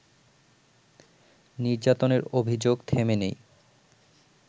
নির্যাতনের অভিযোগ থেমে নেই